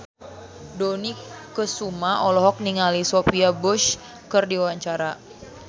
Dony Kesuma olohok ningali Sophia Bush keur diwawancara